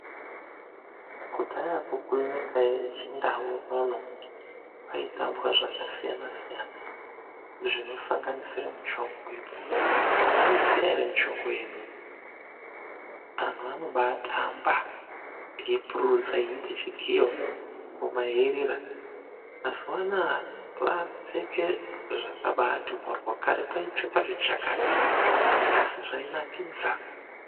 Kudhayako kwenyika yechindau unono kwaitambwa zvakasiyana siyana zvinosanganisira muchongoyo , anoiziya ere muchongoyo imimi anhu anobatamba , eipururudza eite chigiyo Ngoma yeirira, mazuwanaya vakupfeke zvakabati moryo kare kwaipfekwa zvichakati asi zvainakidza.